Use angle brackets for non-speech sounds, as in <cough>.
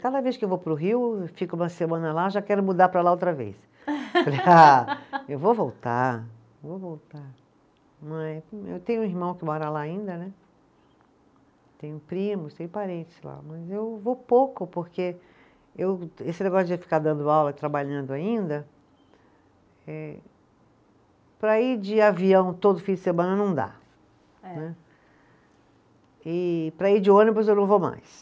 Cada vez que eu vou para o Rio eu fico uma semana lá, já quero mudar para lá outra vez <laughs> ah, eu vou voltar, vou voltar, <unintelligible> eu tenho um irmão que mora lá ainda né, tenho primos, tenho parentes lá, mas eu vou pouco porque eu, esse negócio de ficar dando aula e trabalhando ainda eh, para ir de avião todo fim de semana não dá. É. Né, e para ir de ônibus eu não vou mais